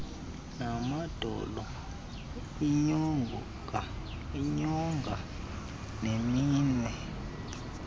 namadolo iinyonga neminwe